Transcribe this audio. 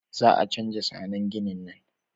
Za a canja zannen ginin